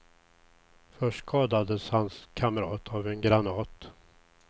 Först skadades hans kamrat av en granat.